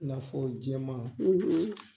I n'a fɔ jɛ ma.